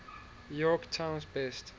york times best